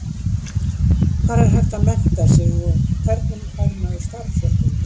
Hvar er hægt að mennta sig og hvernig fær maður starfsréttindi?